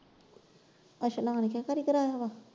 ਅਸਲਾਨ ਕੇ ਘਰੇ ਕਰਾਇਆ ਵਾ?